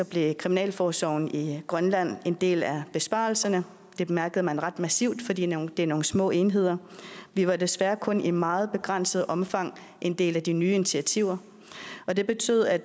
blev kriminalforsorgen i grønland en del af besparelserne det mærkede man ret massivt fordi det er nogle små enheder vi var desværre kun i meget begrænset omfang en del af de nye initiativer og det betød at